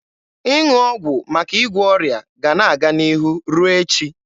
Ịṅụ ọgwụ maka ịgwọ ọrịa ga-ana aga n'ihu ruo echi.